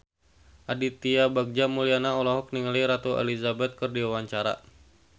Aditya Bagja Mulyana olohok ningali Ratu Elizabeth keur diwawancara